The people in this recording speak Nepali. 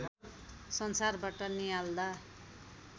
संसारबाट नियाल्दा